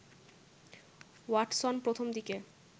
Watson প্রথম দিকে